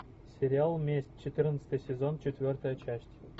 сериал месть четырнадцатый сезон четвертая часть